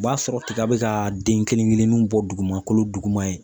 O b'a sɔrɔ tiga bi ka den kelen kelennu bɔ duguma kolo duguma yen